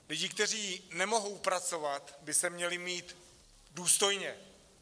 Lidi, kteří nemohou pracovat, by se měli mít důstojně.